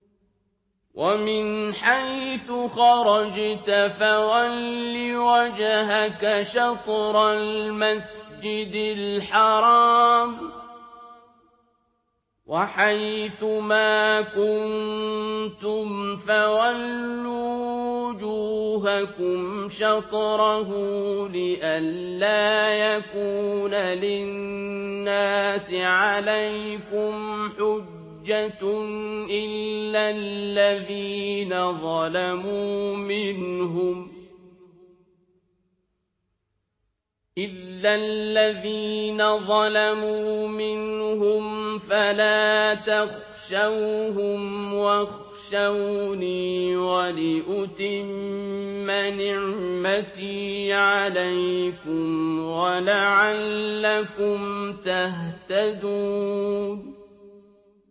وَمِنْ حَيْثُ خَرَجْتَ فَوَلِّ وَجْهَكَ شَطْرَ الْمَسْجِدِ الْحَرَامِ ۚ وَحَيْثُ مَا كُنتُمْ فَوَلُّوا وُجُوهَكُمْ شَطْرَهُ لِئَلَّا يَكُونَ لِلنَّاسِ عَلَيْكُمْ حُجَّةٌ إِلَّا الَّذِينَ ظَلَمُوا مِنْهُمْ فَلَا تَخْشَوْهُمْ وَاخْشَوْنِي وَلِأُتِمَّ نِعْمَتِي عَلَيْكُمْ وَلَعَلَّكُمْ تَهْتَدُونَ